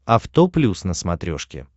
авто плюс на смотрешке